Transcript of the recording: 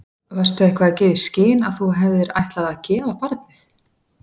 Varstu eitthvað að gefa í skyn að þú hefðir ætlað að gefa barnið?